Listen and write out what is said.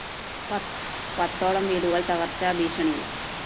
പത്തോളം വീടുകള്‍ തകര്‍ച്ചാ ഭീഷണിയില്‍